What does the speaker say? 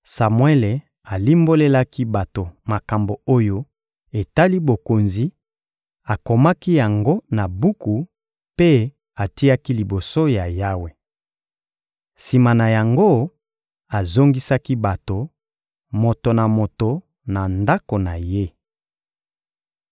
Samuele alimbolelaki bato makambo oyo etali bokonzi, akomaki yango na buku mpe atiaki liboso ya Yawe. Sima na yango, azongisaki bato, moto na moto na ndako na ye.